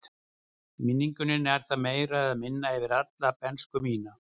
Í minningunni nær það meira eða minna yfir alla bernsku mína.